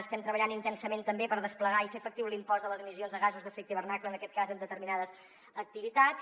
estem treballant intensament també per desplegar i fer efectiu l’impost de les emissions de gasos d’efecte hivernacle en aquest cas en determinades activitats